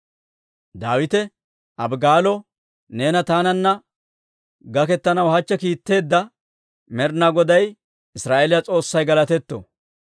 Daawite Abigaalo, «Neena taananna gaketanaw hachche kiitteedda Med'inaa Goday, Israa'eeliyaa S'oossay galatetto.